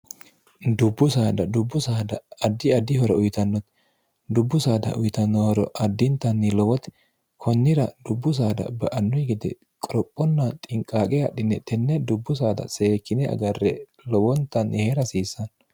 dubbu saada dubbu saada addi addihora uyitannote dubbu saada uyitannooro addintanni lowoti kunnira dubbu saada ba annu gede qorophonna xinqaaqe hadhine tenne dubbu saada seekkine agarre lowontanni hee' rhasiissaanno